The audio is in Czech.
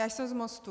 Já jsem z Mostu.